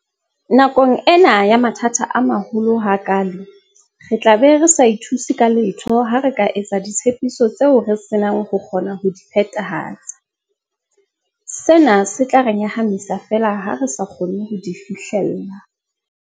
Nakong ena ya mathata a maholoholo ha kaale, re tlabe re sa ithuse ka letho ha re ka etsa ditshepiso tseo re senang ho kgona ho di phethahatsa, sena se tla re nyahamisa feela ha re sa kgone ho di fihlella.